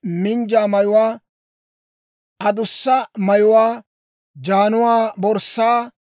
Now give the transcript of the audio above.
minjja mayuwaa, adussa mayuwaa, jaanuwaa, borssaa,